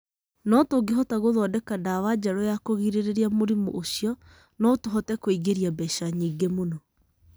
No tũngĩhota gũthondeka ndawa njeru ya kũgirĩrĩria mũrimũ ũcio, no tũhote kũingiria mbeca nyingĩ muno.